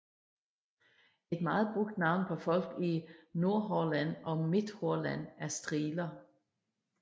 Et meget brugt navn på folk i Nordhordland og Midthordland er striler